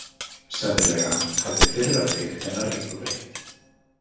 Sennilega hafði fyrra fikt hennar engu breytt.